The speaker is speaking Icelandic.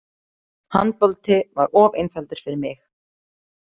Handbolti var of einfaldur fyrir mig.